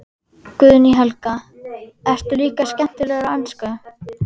Guðný Helga: Ertu líka skemmtilegur á ensku?